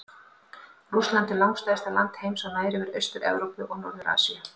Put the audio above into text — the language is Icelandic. Rússland er langstærsta land heims og nær yfir Austur-Evrópu og Norður-Asíu.